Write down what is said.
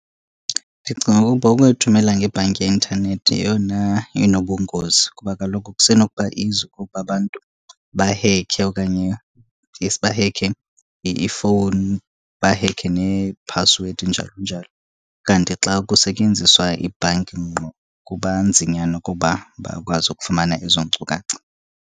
Ndicinga ukuba ukuyithumela ngebhanki yeintanethi yeyona inobungozi. Kuba kaloku kusenokuba easy ukuba abantu bahekhe okanye yes bahekhe ifowuni, bahekhe neephasiwedi, njalo njalo. Kanti xa kusetyenziswa ibhanki ngqo kuba nzinyana ukuba bakwazi ukufumana ezo nkcukacha.